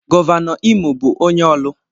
Gọvanọ Imo bụ onye Orlu.